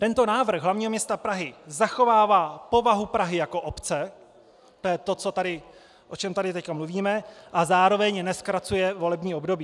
Tento návrh hlavního města Prahy zachovává povahu Prahy jako obce - to je to, o čem tady teď mluvíme - a zároveň nezkracuje volební období.